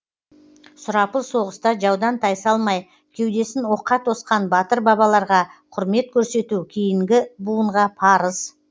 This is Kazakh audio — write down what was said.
сұрапыл соғыста жаудан тайсалмай кеудесін оққа тосқан батыр бабаларға құрмет көрсету кейінгі буынға парыз